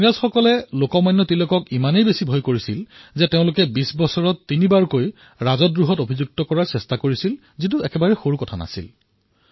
ইংৰাজসকলে লোকমান্য তিলকক ইমানেই ভয় খাইছিল যে তেওঁলোকে ২০ বছৰত তিলকৰ ওপৰত তিনি বাৰ ৰাজদ্ৰোহৰ দোষত অভিযুক্ত কৰোৱাৰ বাবে চেষ্টা কৰিছিল আৰু এয়া সৰু কথা নছিল